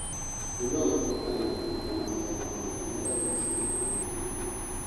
Kũigua gũtahĩka na gũtahĩka mahinda kwa mahinda nĩ ndariri ciũkaga na pneumonia.